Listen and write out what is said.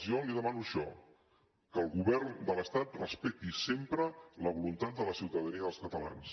jo li demano això que el govern de l’estat respecti sempre la voluntat de la ciutadania dels catalans